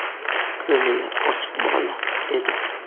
Ko‘ngli ochiq bola edi.